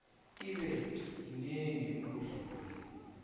ibe yinengi ukudlula